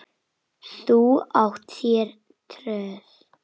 Þú átt þér tröð.